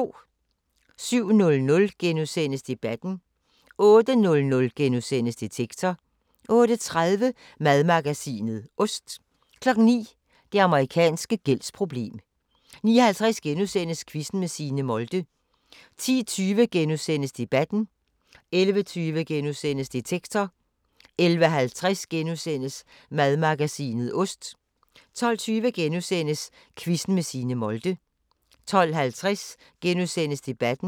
07:00: Debatten * 08:00: Detektor * 08:30: Madmagasinet – Ost 09:00: Det amerikanske gældsproblem 09:50: Quizzen med Signe Molde * 10:20: Debatten * 11:20: Detektor * 11:50: Madmagasinet – Ost * 12:20: Quizzen med Signe Molde * 12:50: Debatten *